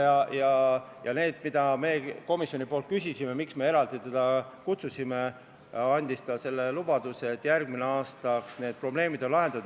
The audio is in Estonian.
Nende teemade kohta, mida me komisjonis küsisime ja miks me teda eraldi kohale kutsusime, andis ta lubaduse, et järgmiseks aastaks on probleemid lahendatud.